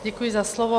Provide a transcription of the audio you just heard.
Děkuji za slovo.